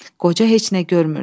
Qoca heç nə görmürdü.